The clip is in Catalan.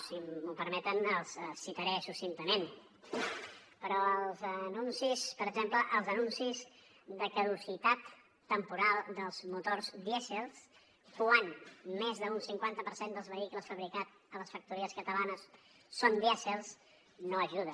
si m’ho permeten els citaré succintament però els anuncis per exemple de caducitat temporal dels motors dièsel quan més d’un cinquanta per cent dels vehicles fabricats a les factories catalanes són dièsel no hi ajuda